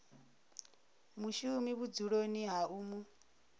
mushumi vhudzuloni ha u mu